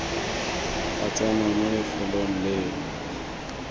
ba tsena mo lefelong leo